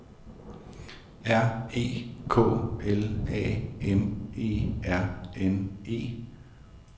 R E K L A M E R N E